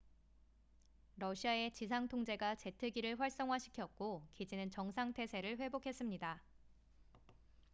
러시아의 지상 통제가 제트기를 활성화시켰고 기지는 정상 태세를 회복했습니다